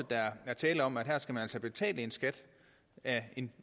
der er tale om at her skal man altså betale en skat af en